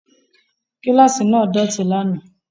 Kíláàsì náà dọ̀tí lánàá